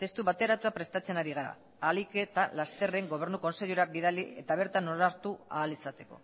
testu bateratua prestatzen ari gara ahalik eta lasterren gobernu kontseilura bidali eta bertan onartu ahal izateko